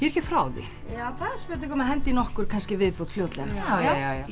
ekki frá því það er spurning um að henda í nokkur í viðbót fljótlega já